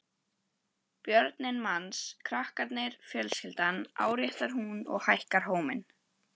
Börnin manns, krakkarnir, fjölskyldan, áréttar hún og hækkar róminn.